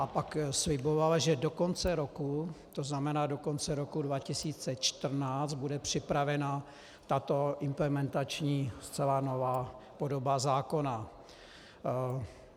A pak slibovala, že do konce roku, to znamená do konce roku 2014, bude připravena tato implementační, zcela nová podoba zákona.